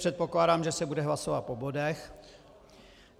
Předpokládám, že se bude hlasovat po bodech.